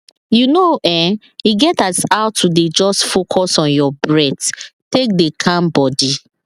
you know[um]e get as how to dey just focus on your breath take dey calm body